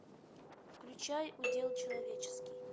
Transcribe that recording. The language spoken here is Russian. включай удел человеческий